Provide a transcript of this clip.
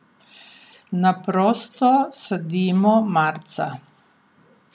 Na prosto sadimo marca.